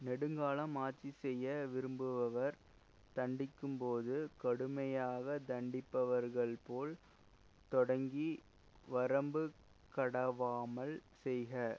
நெடுங்காலம் ஆட்சி செய்ய விரும்புபவர் தண்டிக்கும்போது கடுமையாக தண்டிப்பவர்கள்போல தொடங்கி வரம்பு கடவாமல் செய்க